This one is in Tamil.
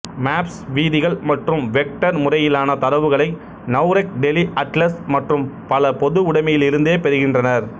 மேப்ஸ் வீதிகள் மற்றும் வெக்டர் முறையிலான தரவுகளை நவ்ரெக் டெலிஅட்லஸ் மற்றும் பலபொதுவுடமையிலிருந்தே பெறுகின்றனர்